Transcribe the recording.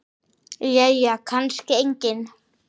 Jæja kannski enginn.